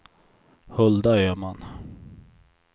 Hulda Öhman